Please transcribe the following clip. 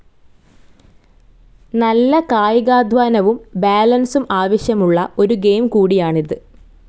നല്ല കായികാധ്വാനവും ബാലൻസും ആവശ്യമുള്ള ഒരു ഗെയിം കൂടിയാണിത്.